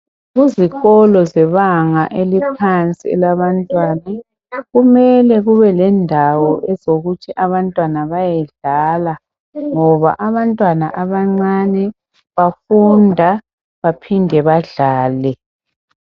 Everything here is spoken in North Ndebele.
Kuzikolo zebanga eliphansi elabantwana kumele kube lendawo ezokuthi abantwana bayedlala ngoba abantwana abancane bafunda baphinde badlale